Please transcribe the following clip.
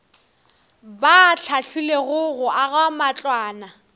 ba hlahlilwego go aga matlwana